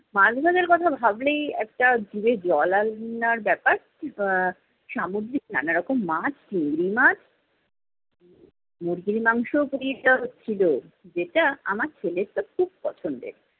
মাছভাজার কথা ভাবলেই একটা জিভে জল আনার ব্যাপার। আহ সামুদ্রিক নানারকম মাছ, চিংড়ি মাছ, মুরগির মাংসও পুড়িয়ে দেওয়া হচ্ছিলো। যেটা আমার ছেলের তো খুব পছন্দের।